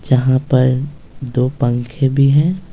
जहां पर दो पंखे भी हैं --